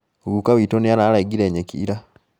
Guka witũ nĩararengire nyeki ira